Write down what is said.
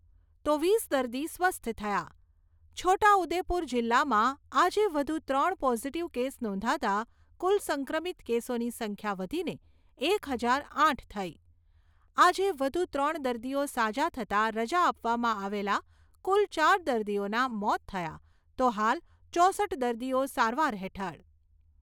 તો વીસ દર્દી સ્વસ્થ થયા. છોટા ઉદેપુર જિલ્લામાં આજે વધુ ત્રણ પોઝિટિવ કેસ નોંધાતાં કુલ સંક્રમિત કેસોની સંખ્યા વધીને એક હજાર આઠ થઈ, આજે વધુ ત્રણ દર્દીઓ સાજા થતાં રજા આપવામાં આવેલા કુલ ચાર દર્દીઓના મોત થયા તો હાલ ચોસઠ દર્દીઓ સારવાર હેઠળ.